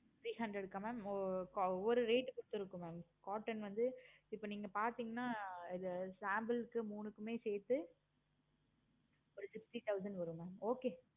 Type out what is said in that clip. three hundred க்கா mam ஒரு rate கொடுத்துருக்கோம் mam cotton வந்து இப்ப நீங்க பார்த்தீங்கன்னா இது sample க்கு மூணுமே சேர்த்து okay ஒரு sixty thousand வரும் mam okay